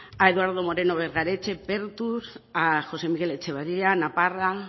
a eduardo moreno bergaretxe pertur a josé miguel etxeberria naparra